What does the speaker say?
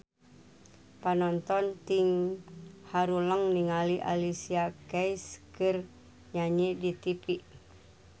Panonton ting haruleng ningali Alicia Keys keur nyanyi di tipi